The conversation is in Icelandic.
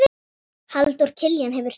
Halldór Kiljan hefur tekið yfir.